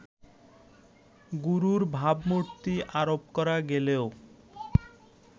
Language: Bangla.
গুরুর ভাবমূর্তি আরোপ করা গেলেও